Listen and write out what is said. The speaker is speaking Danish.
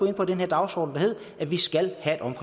ind på den her dagsorden der hedder at vi skal